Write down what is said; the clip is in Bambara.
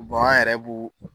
an yɛrɛ b'o